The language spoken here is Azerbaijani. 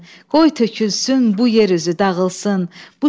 Qoy tökülsün bu yer üzü dağılsın.